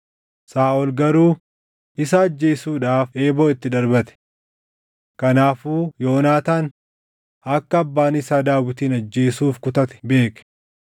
Saaʼol garuu isa ajjeesuudhaaf eeboo itti darbate. Kanaafuu Yoonaataan akka abbaan isaa Daawitin ajjeesuuf kutate beeke.